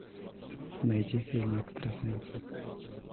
найти фильм экстрасенсы